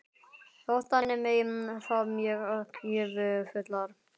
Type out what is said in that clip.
Þótt þannig megi fá mjög gjöfular holur í